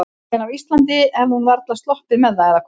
En á Íslandi hefði hún varla sloppið með það, eða hvað?